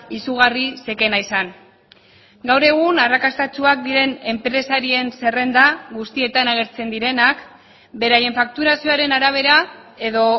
izugarri zekena izan gaur egun arrakastatsuak diren enpresarien zerrenda guztietan agertzen direnak beraien fakturazioaren arabera edo